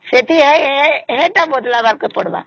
ସେଠି ଏଟା ବଦଳବା କେ ପଡିବା